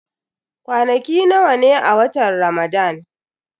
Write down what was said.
Kwanaki nawa ne a watan Ramadan?